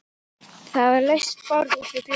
Það var laust borð út við glugga.